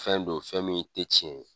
Fɛn don fɛn min tɛ cɛn ye.